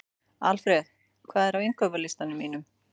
Alfred, hvað er á innkaupalistanum mínum?